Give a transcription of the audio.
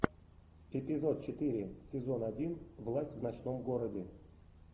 эпизод четыре сезон один власть в ночном городе